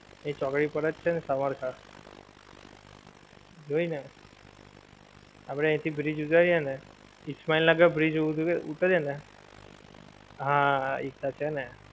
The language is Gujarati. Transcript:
એ ચોકડી પર જ છે સવાર સાંજ. જોઇન ને? આપડે અહીં થી bridge ઉતરીએ ને, ઈસ્માઈલ નગર bridge ઉતરીએ ને, હાં, એ જ તો છે ને.